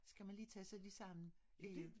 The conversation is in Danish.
Skal man lige tage sig lige sammen